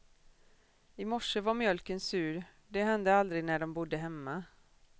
Imorse var mjölken sur, det hände aldrig när de bodde hemma.